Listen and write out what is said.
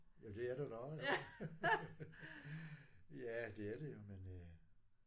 Ja det er det da også jo. Ja det er det jo men øh